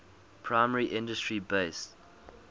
primary industry based